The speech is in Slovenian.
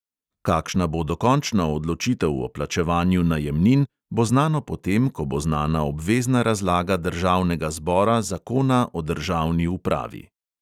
Kakšna bo dokončna odločitev o plačevanju najemnin, bo znano potem, ko bo znana obvezna razlaga državnega zbora zakona o državni upravi.